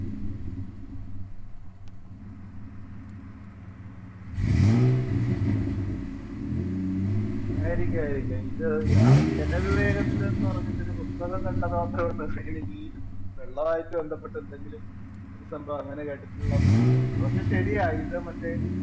ആയിരിക്കും, ആയിരിക്കും. ജല വിവേകത്തിന് എന്നൊരു പുസ്തകം കണ്ടമാത്രേ ഓര്‍മ്മയുള്ളൂ. എനിക്ക് ഈ വെള്ളമായിട്ട് ബന്ധപ്പെട്ട് എന്തെങ്കിലും ഒരു സംഭവം അങ്ങനെ കേട്ടിട്ടുള്ളത്.